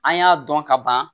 An y'a dɔn ka ban